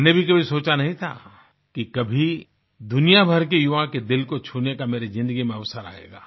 मैंने भी कभी सोचा नही था कि कभी दुनिया भर के युवा के दिल को छूने का मेरी ज़िन्दगी में अवसर आयेगा